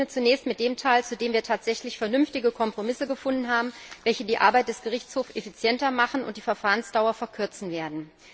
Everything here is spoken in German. Ich beginne zunächst mit dem Teil, zu dem wir tatsächlich vernünftige Kompromisse gefunden haben, welche die Arbeit des Gerichtshofs effizienter machen und die Verfahrensdauer verkürzen werden.